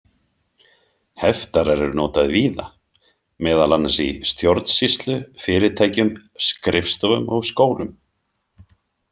Heftarar eru notaðir víða, meðal annars í stjórnsýslu, fyrirtækjum, skrifstofum og skólum.